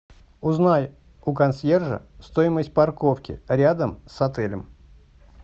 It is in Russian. узнай у консьержа стоимость парковки рядом с отелем